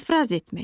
İfraz etmək.